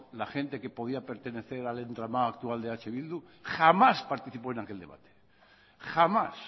la gente que podía pertenecer al entramado actual de eh bildu jamás participó en aquel debate jamás